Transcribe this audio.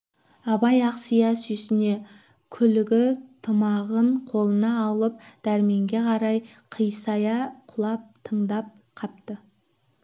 абай ақсия сүйсіне күлігі тымағын қолына алып дәрменге қарай қисая құлап тыңдап қапты